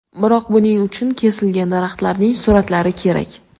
Biroq buning uchun kesilgan daraxtlarning suratlari kerak.